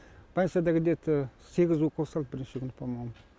больницада где то сегіз укол салды бірінші күні по моему